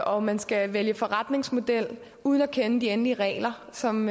og man skal vælge forretningsmodel uden at kende de endelige regler som